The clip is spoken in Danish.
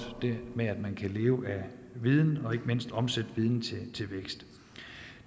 ved at man kan leve af viden og ikke mindst omsætte viden til vækst